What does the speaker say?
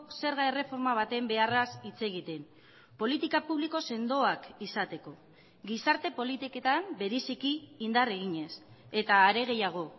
zerga erreforma baten beharraz hitz egiten politika publiko sendoak izateko gizarte politiketan bereziki indar eginez eta are gehiago